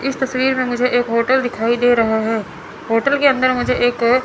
इस तस्वीर में मुझे एक होटल दिखाई दे रहा है होटल के अंदर मुझे एक--